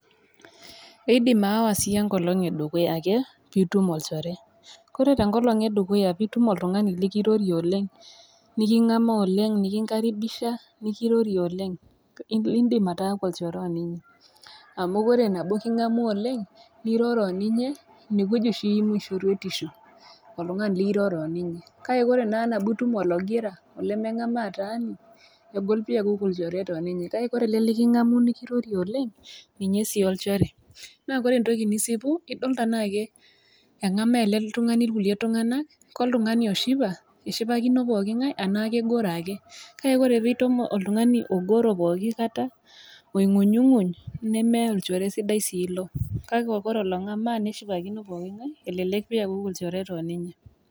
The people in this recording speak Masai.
Eidim sii aawa enkolong' e dukuya ake peee itum olchore. Kore tenkolong' e dukuya teneitum ake oltung'ani lekirorie oleng' neking'amaa oleng' nekinkaribisha nekirorie oleng', indim ataaku olchore o ninye. Amu ore teneking'amu oleng' niroro o ninye, ine wueji oshi eimu shoruetishu oltung'ani liroro o ninye. Kake ore naa teneitum ologira olemeng'amaa taani, egol pee iaku ilchoreta o ninye, kake ore ele lekingamu nikirorie oleng' ninye sii olchore. Naa ore entoki nisipu idol tanaake eng'amaa ele tung'ani ilkulie tung'anak, ke oltung'ani oshipakino pooking'ai anaa kegoro ake. Kke ore pee itum oltung'ani ogoro pooki kata long'unyng'uny nemee olchore sidai sii ilo , kake ore ong'amaa pooking'ai nelelek piakuku ilchoreta o ninye.